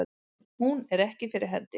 Hún er ekki fyrir hendi.